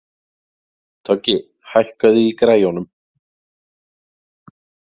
Toggi, hækkaðu í græjunum.